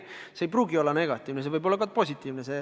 See muutus ei pruugi olla negatiivne, see võib olla ka positiivne.